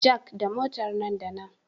Jack da Motar nan da nan